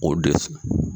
O dɛ